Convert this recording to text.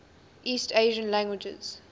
east asian languages